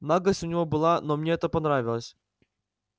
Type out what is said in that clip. наглость у него была но мне это понравилось